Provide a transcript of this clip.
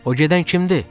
O gedən kimdir?